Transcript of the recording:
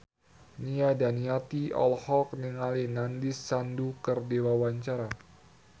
Nia Daniati olohok ningali Nandish Sandhu keur diwawancara